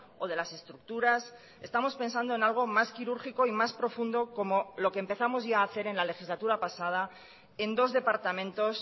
o de las estructuras estamos pensando en algo más quirúrgico y más profundo como lo que empezamos ya hacer en la legislatura pasada en dos departamentos